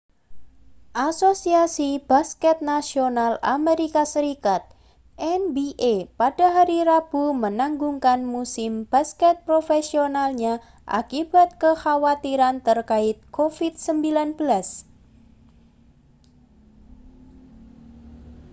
asosiasi basket nasional amerika serikat nba pada hari rabu menangguhkan musim basket profesionalnya akibat kekhawatiran terkait covid-19